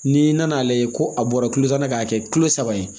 N'i nan'a lajɛ ko a bɔra kulo tan na k'a kɛ kulo saba ye